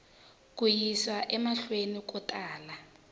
ku yisa emahlweni ku tala